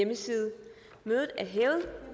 vedtaget